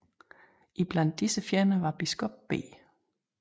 Iblandt disse fjender var biskop B